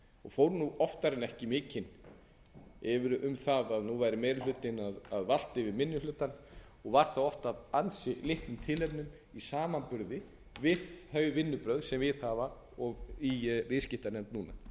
og fór oftar en ekki mikinn um það að nú væri meiri hlutinn að valta yfir minni hlutann og var það oft af ansi litlum tilefnum í samanburði við þau vinnubrögð sem viðhafa og við í viðskiptanefnd